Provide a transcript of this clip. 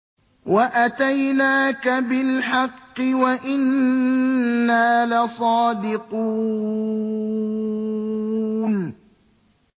وَأَتَيْنَاكَ بِالْحَقِّ وَإِنَّا لَصَادِقُونَ